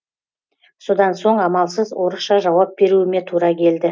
содан соң амалсыз орысша жауап беруіме тура келді